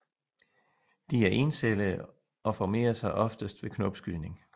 De er encellede og formerer sig oftest ved knopskydning